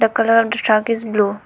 The colour of the truck is blue.